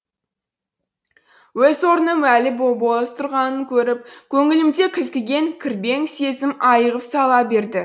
өз орным әлі бос тұрғанын көріп көңілімде кілкіген кірбең сезім айығып сала берді